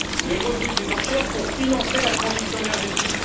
les revenus des enchères pour financer la transition énergétique.